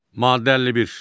Maddə 51.